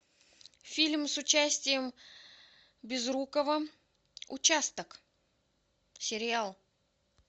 фильм с участием безрукова участок сериал